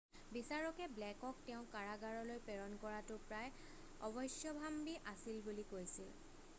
বিচাৰকে ব্লেকক তেওঁক কাৰাগাৰলৈ প্ৰেৰণ কৰাটো প্ৰায় অৱশ্যভাম্বী আছিল বুলি কৈছিল